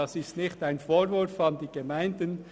Das ist kein Vorwurf an die Gemeinden.